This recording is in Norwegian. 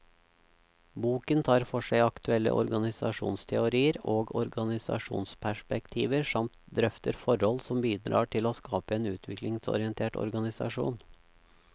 Boken tar for seg aktuelle organisasjonsteorier og organisasjonsperspektiver, samt drøfter forhold som bidrar til å skape en utviklingsorientert organisasjon.